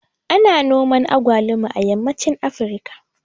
Ana noman agwaluma a yammacin Afrika